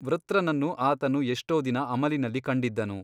ವೃತ್ರನನ್ನು ಆತನು ಎಷ್ಟೋ ದಿನ ಅಮಲಿನಲ್ಲಿ ಕಂಡಿದ್ದನು.